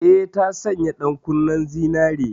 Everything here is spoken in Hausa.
Eh, ta sanya ɗankunnen zinare.